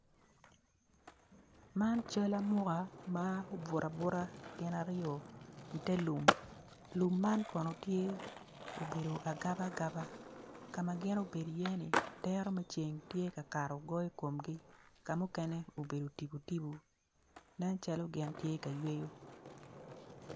Man cal amuka ma obuto abuta gin aryo i ter lum lum man kono tye obedo agaba aagba kama gin obedo i ye ni dero me ceng tye ka kato goyo komgi kamukene obedo tipo tipo nen calo gin tye ka yweyo